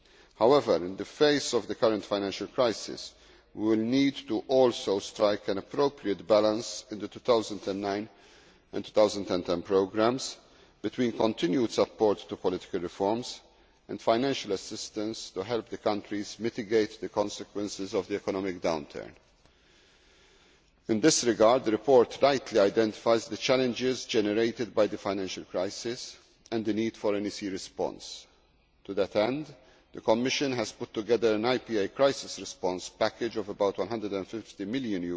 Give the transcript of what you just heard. However, in the face of the current financial crisis, we will also need to strike an appropriate balance in the 2009 and 2010 programmes between continued support for political reforms and financial assistance to help the countries mitigate the consequences of the economic downturn. In this regard the report rightly identifies the challenges generated by the financial crisis and the need for an EC response. To that end, the Commission has put together an IPA crisis response package of about EUR 250 million